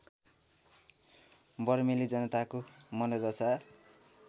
बर्मेली जनताको मनोदशा